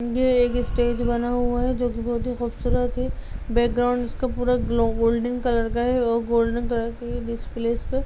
यह एक स्टेज बना हुआ है जो कि बहुत ही खूबसूरत है | बैकग्राउंड इसका पूरा ग्लो गोल्डन कलर का है और गोल्डन कलर कि ही डिस्प्ले है इसपे।